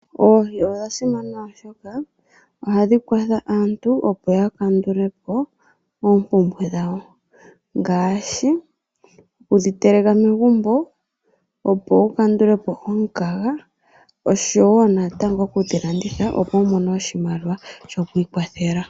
Oohi odha simana oshoka ohadhi kwathele aantu, opo ya kandule po oompumbwe dhawo ngaashi okudhi teleka megumbo opo wu kandule po omukaga oshowo natango okudhi landitha opo wu mone oshimaliwa sho kwiikwathela.